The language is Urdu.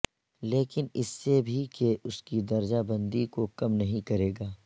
لیکن اس سے بھی کہ اس کی درجہ بندی کو کم نہیں کرے گا